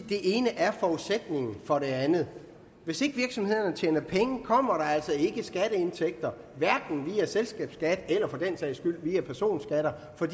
det ene er forudsætningen for det andet hvis ikke virksomhederne tjener penge kommer der altså ikke skatteindtægter hverken via selskabsskatten eller for den sags skyld via personskatter for